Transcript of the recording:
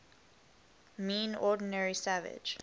mean ordinary savage